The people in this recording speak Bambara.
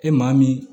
E maa min